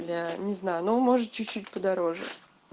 я не знаю но может чуть чуть подороже